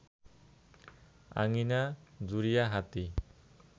আঙ্গিনা জুড়িয়া হাতী